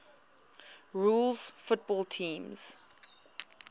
rules football teams